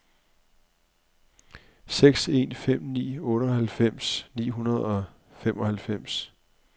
seks en fem ni otteoghalvfems ni hundrede og femoghalvfems